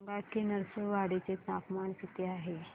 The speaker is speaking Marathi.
सांगा की नृसिंहवाडी चे तापमान किती आहे